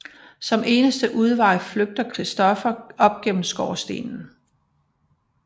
Som eneste udvej flygtede Christoffer op gennem skorstenen